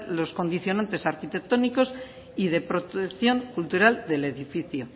los condicionante arquitectónicos y de protección cultural del edificio